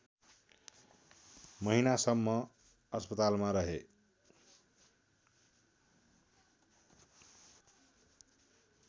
महिनासम्म अस्पतालमा रहे